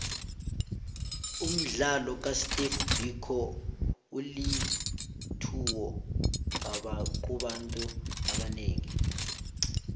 umdlalo ka steve biko ulitlhuwo kubantu abanengi